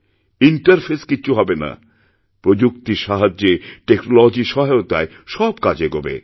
interface কিছু হবে না প্রযুক্তির সাহায্যে টেকনোলজির সহায়তায় সব কাজ এগোবে